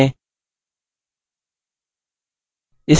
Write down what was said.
play पर click करें